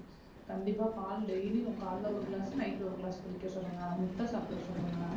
கண்டிப்பா பால் daily யும் காலைல ஒரு glass night ஒரு glass குடிக்க சொல்லுங்க முட்டை சாப்பிட சொல்லுங்க.